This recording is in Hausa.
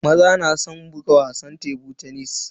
Maza na san buga wasan tebur tenis.